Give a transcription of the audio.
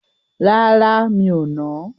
Rárá, mi ò nà á.